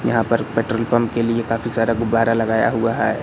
यहां पर petrol pump के लिए काफी सारा गुब्बारा लगाया हुआ है।